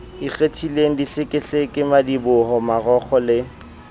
ikgethileng dihlekehleke madiboho marokgo le